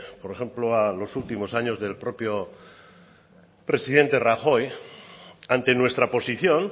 a los últimos años del propio presidente rajoy ante nuestra posición